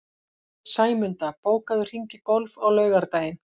Sæmunda, bókaðu hring í golf á laugardaginn.